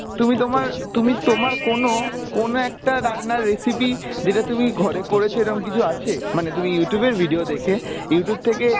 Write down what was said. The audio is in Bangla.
তুমি তোমার তুমি তোমার কোনো কোনো একটা রান্নার recipe যেটা তুমি ঘরে করেছো এরম কিছু আছে মানে তুমি Youtube এ video দেখে Youtube থেকে